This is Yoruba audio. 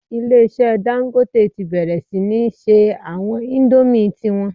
Ilé-ìṣẹ́ Dangote ti bẹ̀rẹ̀ sí ní se àwọn indomie ti wọn